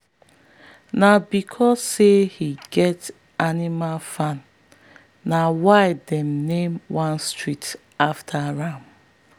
na because say he get animal farm na why them name one street after am.